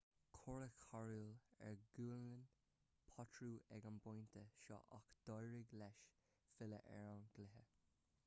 cuireadh cóireáil ar ghualainn potro ag an bpointe seo ach d'éirigh leis filleadh ar an gcluiche